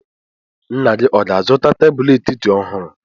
Nna gị ọ ga-azụta tebụl etiti ọhụrụ?